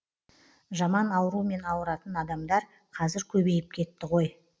жаман аурумен ауыратын адамдар қазір көбейіп кетті ғой